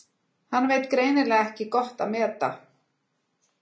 Hann veit greinilega ekki gott að meta.